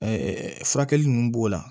furakɛli ninnu b'o la